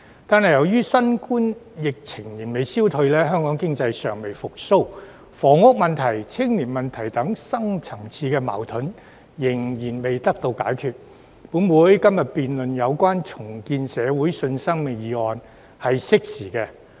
但由於新冠疫情仍未消退，香港經濟尚未復蘇，房屋問題、青年問題等深層次矛盾仍未解決，本會今天辯論有關"重建社會信心"議案是相當適時。